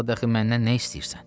Daha daxı məndən nə istəyirsən?